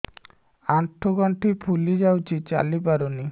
ଆଂଠୁ ଗଂଠି ଫୁଲି ଯାଉଛି ଚାଲି ପାରୁ ନାହିଁ